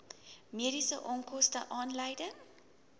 mediese onkoste aanleiding